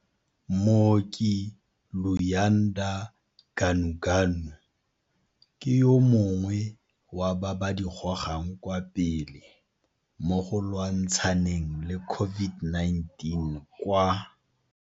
Mooki Luyanda Ganuganu ke yo mongwe wa ba ba di gogang kwa pele mogo lwantshaneng le COVID-19 kwa.